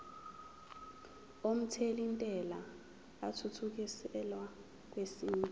omthelintela athuthukiselwa kwesinye